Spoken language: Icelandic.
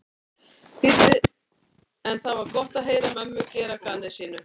þýddi en það var gott að heyra mömmu gera að gamni sínu.